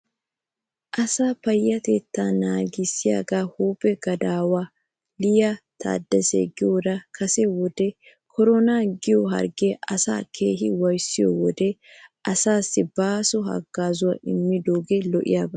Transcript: Asaa payatettaa naagissiyaagaa huuphe gadaawiyaa liyaa tadese giyoora kase wode koronaa giyoo hargee asaa keehi waayissiyoode asaassi baaso haggaazaa immidoogee lo'iyaaba.